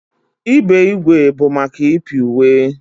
Ibe ígwè bụ maka ịpị uwe.